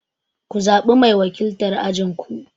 Ku zaɓa mai wakiltar ajin ku!